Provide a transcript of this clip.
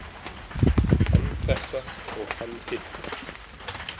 Hann þetta og hann hitt.